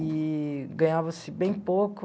Eee ganhava-se bem pouco.